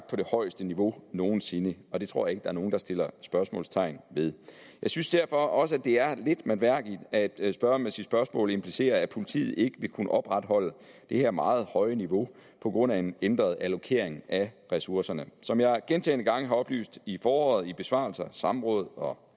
på det højeste niveau nogen sinde og det tror jeg er nogen der sætter spørgsmålstegn ved jeg synes derfor også det er lidt mærkværdigt at spørgeren med sit spørgsmål implicit siger at politiet ikke vil kunne opretholde det her meget høje niveau på grund af en ændret allokering af ressourcerne som jeg gentagne gange har oplyst i foråret i besvarelser samråd og